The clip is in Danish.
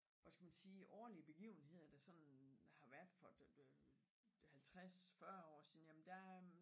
Hvad skal man sige årlige begivenheder der sådan har været for 50 40 år siden jamen der øh